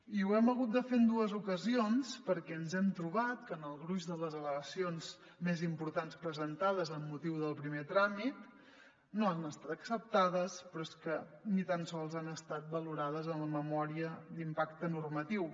i ho hem hagut de fer en dues ocasions perquè ens hem trobat que el gruix de les al·legacions més importants presentades amb motiu del primer tràmit no han estat acceptades però és que ni tan sols han estat valorades en la memòria d’impacte normatiu